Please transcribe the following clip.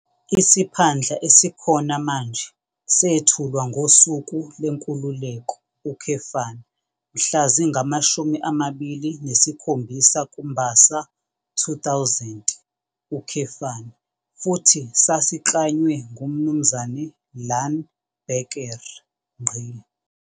Isiphandla esikhona manje sethulwa ngoSuku leNkululeko, mhla zingama-27 kuMbasa 2000, futhi sasiklanywe nguMnu Iaan Bekker.